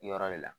Yɔrɔ de la